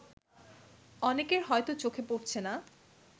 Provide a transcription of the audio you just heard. অনেকের হয়তো চোখে পড়ছে না